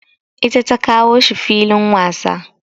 Ita ta kawo shi filin wasa.